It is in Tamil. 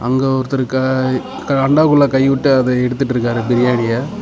இங்க ஒருத்தரு க அண்டாக்குள்ள கைவிட்டு அத எடுத்துட்ருக்காரு பிரியாணிய .